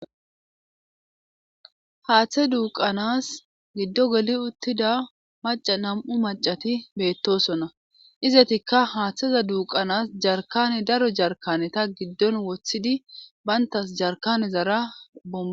haaththe duuqanas giddo geli uttida maca nam7u macati beettosonna izetikka haaththeza duuqanas jarkane daro jarkane ta giddon woththidi bayntas jarkane zara bom